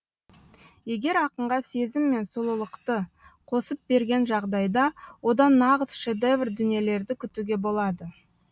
егер ақынға сезім мен сұлулықты қосып берген жағдайда одан нағыз шедевр дүниелерді күтуге болады